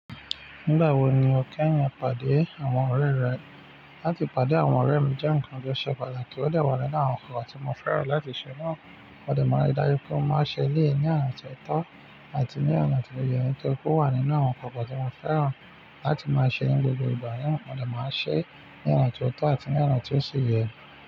Nígbà wo ni o kẹ́yin pàdé àwọn ọ̀rẹ́ rẹ? Látì pàdé àwọn ọ̀rẹ́ mi jẹ́ nǹkan tó ṣe pàtàkì, ó dẹ wà nínú àwọn ǹkan tí mo fẹ́ràn láti ṣe náà. Mo dẹ máa n rí dájú pé mo máa n ṣe eléyìí ní ọ̀nà ti ó tọ́ àti ní ọna ti ó yẹ, nítorí pé ó wà nínú àwọn ǹkan tí mo fẹ́ràn láti máa ṣe ní gbogbo ìgbà náà. Mo dẹ máa ṣe ní ọna ti ó tọ́ àti ní ọna ti ó sì yẹ.